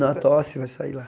a tosse, vai sair lá.